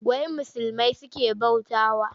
Wa musulmai suke bautawa?